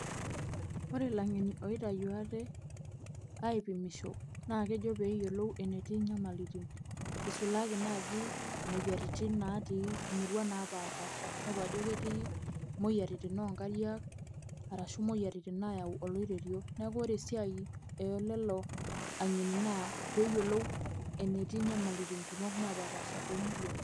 Ore ilangeni oitayu ate aipimisho amu kejo peeyiolou enetii inyamalitin isulaki naaji imoyiaritin natii imurua naapashiipasha, amu inepu ajo ketii imoriyiarin oo nkariak arashu imoyiaritin naayau oloiterio neeku ore esiai ole'lo ankeni naa pee iyiolou enetii inyamalitin kumok naapashiipasha too murua.